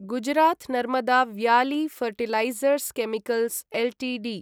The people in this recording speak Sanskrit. Gujarat Narmada valley fertilizers chemicals Ltd